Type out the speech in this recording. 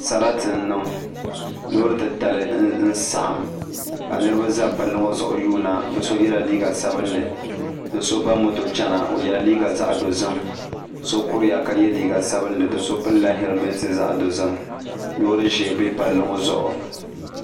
Sarati n niŋ loori titali n saɣam ka niraba ʒɛ palli ŋɔ zuɣu yuunda bi so yɛla liiga sabinli ni so ba moto chɛna o yɛla liiga zaɣ dozim so kuriya ka yɛ liiga sabinli do so pilila hɛlmɛnt zaɣ dozim loori ʒiɛ bɛ palli ŋɔ zuɣu